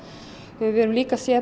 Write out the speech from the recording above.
við höfum líka séð